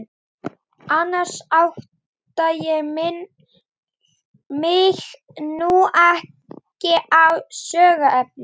Annars átta ég mig nú ekki á söguefninu.